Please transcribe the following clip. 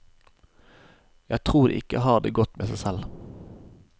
Jeg tror de ikke har det godt med seg selv.